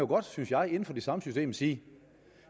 godt synes jeg inden for det samme system sige